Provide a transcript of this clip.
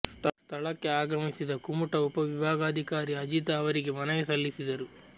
ಸ್ಥಳಕ್ಕೆ ಆಗಮಿಸಿದ ಕುಮಟಾ ಉಪ ವಿಭಾಗಾಧಿಕಾರಿ ಅಜೀತ ಅವರಿಗೆ ಮನವಿ ಸಲ್ಲಿಸಿದರು